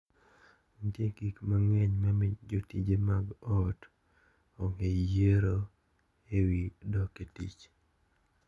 Nitie gik mang`eny mamiyo jotije mag ot onge yiero e wi dok e tich.